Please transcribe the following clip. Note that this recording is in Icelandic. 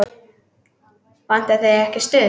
Vantar þig ekki stuð?